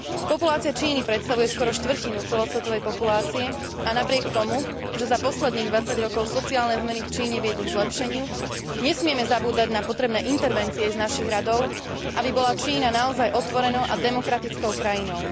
Populácia Číny predstavuje skoro štvrtinu celosvetovej populácie a napriek tomu, že za posledných 20 rokov sociálne zmeny v Číne viedli k zlepšeniu, nesmieme zabúdať na potrebné intervencie z našich radov, aby bola Čína naozaj otvorenou a demokratickou krajinou.